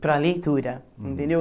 Para a leitura, entendeu?